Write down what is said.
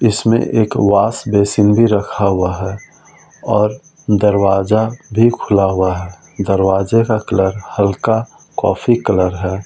इसमें एक wash basin भी रखा हुआ है और दरवाजा भी खुला हुआ है दरवाजे का कलर हल्का कॉफी कलर है।